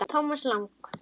Thomas Lang